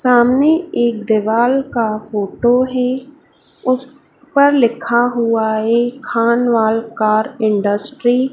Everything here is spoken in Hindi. सामने एक दीवाल का फोटो है उस पर लिखा हुआ है खानवल कार इंडस्ट्री ।